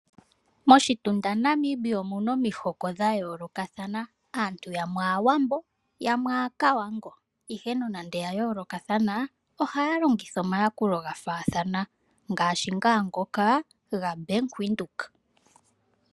Moshitunda Namibia omu na omihoko dha yoolokathana aantu yamwe aawambo yamwe aakavango ihe nande ya yoolokathana ohaya longitha omayakulo ga faathana ngaashi ngoka gaBank Windhoek.